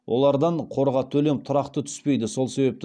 олардан қорға төлем тұрақты түспейді сол себепті